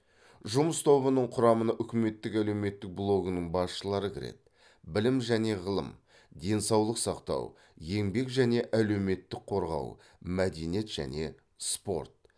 жұмыс тобының құрамына үкіметтік әлеуметтік блогының басшылары кіреді білім және ғылым денсаулық сақтау еңбек және әлеуметтік қорғау мәдениет және спорт